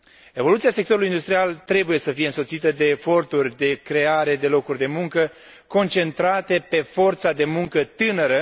Evoluția sectorului industrial trebuie să fie însoțită de eforturi de creare de locuri de muncă, concentrate pe forța de muncă tânără.